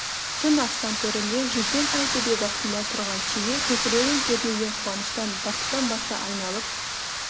түн аспан төрінде жүзген ай төбе басында тұрған шеге көкірегін кернеген қуаныштан бақыттан басы айналып